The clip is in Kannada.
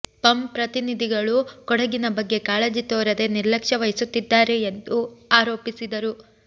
ಪಂ ಪ್ರತಿನಿಧಿಗಳು ಕೊಡಗಿನ ಬಗ್ಗೆ ಕಾಳಜಿ ತೋರದೆ ನಿರ್ಲಕ್ಷ್ಯ ವಹಿಸುತ್ತಿದ್ದಾರೆ ಎಂದು ಆರೋಪಿಸಿದರು